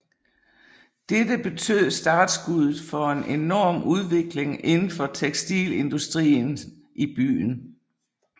Dette betød startskuddet for en enorm udvikling inden for tekstilindustrien i byen